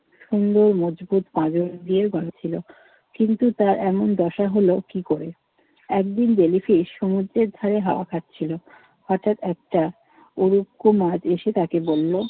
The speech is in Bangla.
সুন্দর মজবুত পাজর দিয়ে গড়া ছিল। কিন্তু তার এমন দশা হলো কি করে? একদিন জেলিফিশ সমুদ্রের ধারে হাওয়া খাচ্ছিল। হঠাৎ একটা উড়ুক্কু মাছ এসে তাকে বলল,